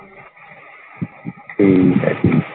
ਠੀਕ ਹੈ।